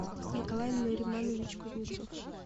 николай нуриманович кузнецов